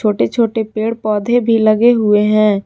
छोटे छोटे पेड़ पौधे भी लगे हुए हैं।